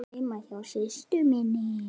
Heima hjá systur minni?